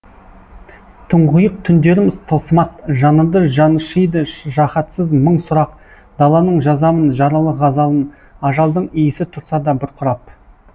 тұңғиық түндерім тылсымат жанымды жаншыйды жаһатсыз мың сұрақ даланың жазамын жаралы ғазалын ажалдың иісі тұрса да бұрқырап